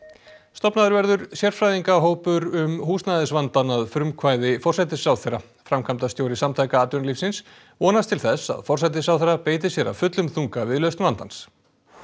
stofnaður verður sérfræðingahópur um húsnæðisvandann að frumkvæði forsætisráðherra framkvæmdastjóri Samtaka atvinnulífsins vonast til þess að forsætisráðherra beiti sér af fullum þunga við lausn vandans